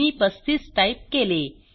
मी 35 type केले